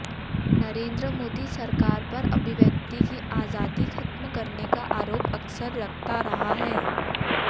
नरेंद्र मोदी सरकार पर अभिव्यक्ति की आज़ादी ख़त्म करने का आरोप अक्सर लगता रहा है